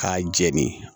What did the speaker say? K'a jɛni